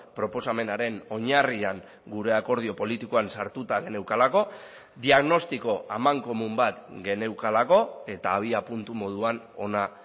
proposamenaren oinarrian gure akordio politikoan sartuta geneukalako diagnostiko amankomun bat geneukalako eta abiapuntu moduan ona